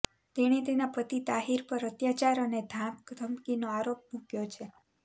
તેણે તેના પતિ તાહિર પર અત્યાચાર અને ધાકધમકીનો આરોપ મુક્યો છે